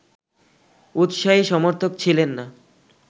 উৎসাহী সমর্থক ছিলেন না